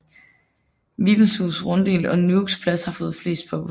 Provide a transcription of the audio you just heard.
Vibenshus Runddel og Nuuks Plads har fået flest påbud